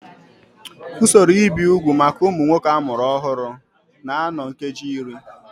Usoro ibi úgwù maka ụmụ nwoke a mụrụ ọhụrụ na-anọ nkeji iri